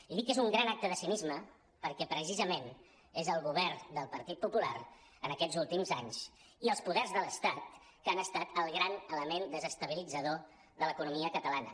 i dic que és un gran acte de cinisme perquè precisament és el govern del partit popular en aquests últims anys i els poders de l’estat que han estat el gran element desestabi·litzador de l’economia catalana